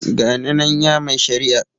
Ga ni nan ya mai shari'a.